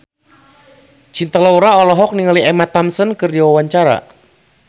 Cinta Laura olohok ningali Emma Thompson keur diwawancara